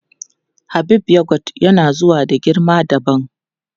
Habib yogot yana zuwa da girma dabam.